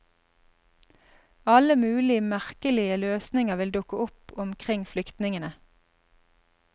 Alle mulig merkelige løsninger vil dukke opp omkring flyktningene.